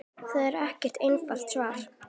Það er ekkert einfalt svar.